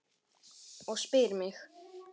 Og spyr mig